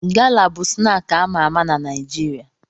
Gala bụ snaakị a ma ama na Naịjirịa.